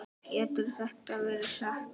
Getur þetta verið satt?